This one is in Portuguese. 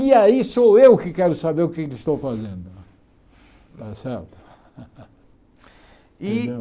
E aí sou eu que quero saber o que é que estou fazendo. Eh sabe entendeu e